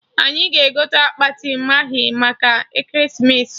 Anyị ga-egote akpati maghị maka ekeresimesi